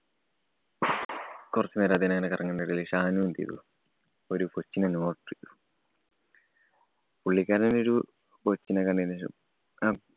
കൊറച്ച് നേരം അത്യേനെ ഇങ്ങനെ കറങ്ങുന്നതിനിടയില്‍ ഷാനു എന്ത് ചെയ്തു? ഒരു കൊച്ചിനെ . പുള്ളിക്കാരന്‍ ഒരു കൊച്ചിനെ കണ്ടതിനുശേഷം ഉം